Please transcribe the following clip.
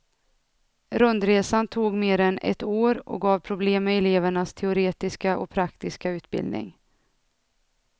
Rundresan tog mer än ett år och gav problem med elevernas teoretiska och praktiska utbildning.